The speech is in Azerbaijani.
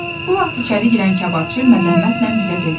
Bu vaxt içəri girən kababçı məzəmmətlə bizə dedi.